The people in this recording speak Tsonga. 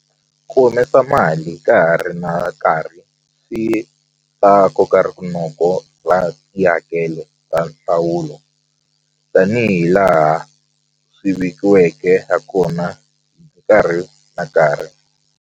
Ku humesa mali ka ha ri na nkarhi swi ta koka rinoko swa nhlawulo tanihi laha swi vekiweke ha kona nkarhi na nkarhi.